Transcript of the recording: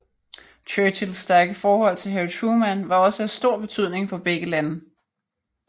Churchills stærke forhold til Harry Truman var også af stor betydning for begge lande